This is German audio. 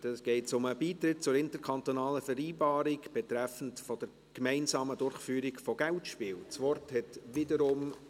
Hier geht es um den Beitritt zur Interkantonalen Vereinbarung betreffend die gemeinsame Durchführung von Geldspielen (IKV 2020).